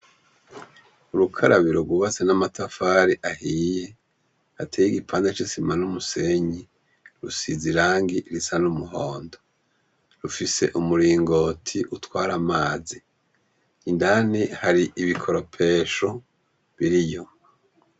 Urukarabiro rwubatse n'amatafari ahiye. Hateye igipande c'isima n'umusenyi rusize irangi risa n'umuhondo, rufise umuringoti utwara amazi. Indani hari ibikoropesho biriyo.